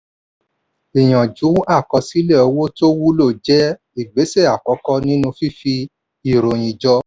ìyànjú àkọsílẹ̀ owó tó wúlò jẹ́ igbésẹ̀ àkọ́kọ́ nínú fífi ìròyìn jọ.